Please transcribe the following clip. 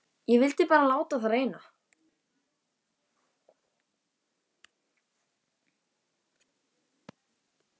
Ég vildi bara láta á það reyna.